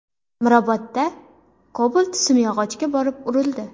Mirobodda Cobalt simyog‘ochga borib urildi.